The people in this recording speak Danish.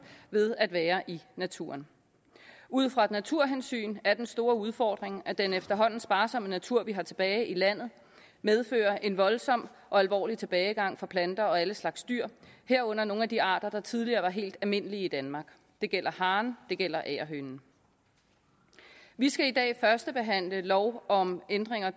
ved at være i naturen ud fra et naturhensyn er den store udfordring den at den efterhånden sparsomme natur vi har tilbage i landet medfører en voldsom og alvorlig tilbagegang for planter og alle slags dyr herunder nogle af de arter der tidligere har været helt almindelige i danmark det gælder haren det gælder agerhønen vi skal i dag førstebehandle lov om ændring af